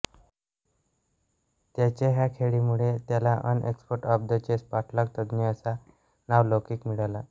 त्याच्या ह्या खेळीमुळे त्याला an expert of the chess पाठलाग तज्ञ असा नावलौकिक मिळाला